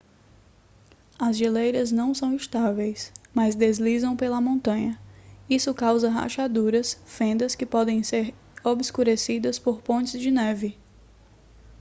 as geleiras não são estáveis mas deslizam pela montanha isso causa rachaduras fendas que podem ser obscurecidas por pontes de neve